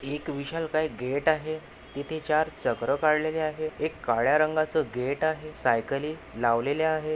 एक विशालकाय गेट आहे इथे चार चक्र काढलेले आहेत एक काळ्या रंगाचा गेट आहे सायकली लावलेल्या आहेत.